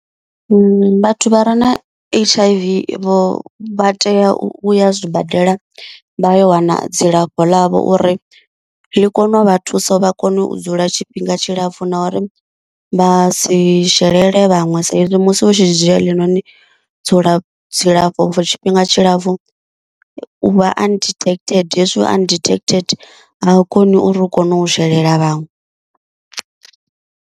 Vhathu vha re na H_I_V vho vha tea u ya zwibadela vha yo wana dzilafho ḽavho uri ḽi kone u vha thusa vha kone u dzula tshifhinga tshilapfu na uri vhasi shelele vhaṅwe sa izwi musi u tshi dzhia heḽinoni dzula dzilafho for tshifhinga tshilapfu uvha undetected hezwi vha undetected a u koni uri u kone u shelela vhaṅwe.